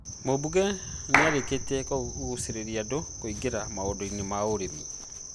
Mumbunge nĩ arĩkĩtie kũgucĩrĩria andũ kũingĩra maũndũ-inĩ ma ũrĩmi